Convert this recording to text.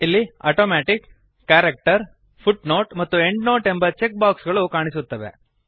ಇಲ್ಲಿ automatic character footnote ಮತ್ತು endnote ಎಂಬ ಚೆಕ್ ಬಾಕ್ಸ್ ಗಳು ಕಾಣಿಸುತ್ತವೆ